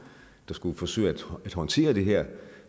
der skulle forsøge at håndtere det her